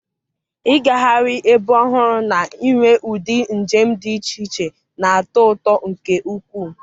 ịgagharị ebe ọhụrụ na inwe ụdị njem dị iche iche na-atọ ụtọ nke ukwuu.